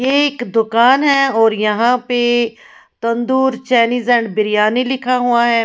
यह एक दुकान है और यहाँ पे तंदूर चायनीज एंड बिरयानी लिखा हुआ है।